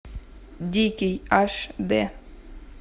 дикий аш дэ